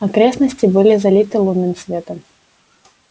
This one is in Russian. окрестности были залиты лунным светом